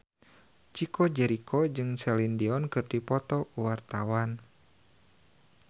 Chico Jericho jeung Celine Dion keur dipoto ku wartawan